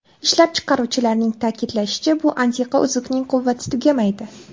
Ishlab chiqaruvchilarning ta’kidlashicha, bu antiqa uzukning quvvati tugamaydi.